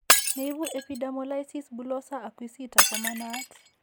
Neipu epidermolysis bullosa acquisita ko ma naat.